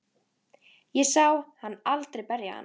Ég sá hann aldrei berja hana.